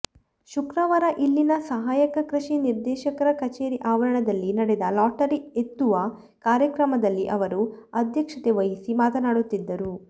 ಶುಕ್ರವಾರ ಇಲ್ಲಿನ ಸಹಾಯಕ ಕೃಷಿ ನಿರ್ದೇಶಕರ ಕಚೇರಿ ಆವರಣದಲ್ಲಿ ನಡೆದ ಲಾಟರಿ ಎತ್ತುವ ಕಾರ್ಯಕ್ರಮದಲ್ಲಿ ಅವರು ಅಧ್ಯಕ್ಷತೆ ವಹಿಸಿ ಮಾತನಾಡುತ್ತಿದ್ದರು